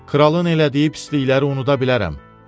Kralın elədiyi pislikləri unuda bilərəm.